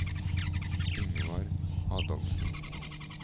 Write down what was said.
Yngvar Adolfsen